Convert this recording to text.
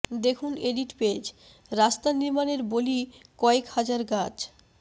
দেখুন edit page রাস্তা নির্মাণের বলি কয়েক হাজার গাছ